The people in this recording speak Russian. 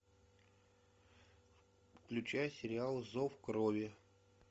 включай сериал зов крови